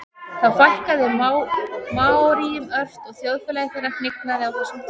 þó fækkaði maóríum ört og þjóðfélagi þeirra hnignaði á þessum tíma